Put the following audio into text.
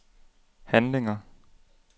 handlinger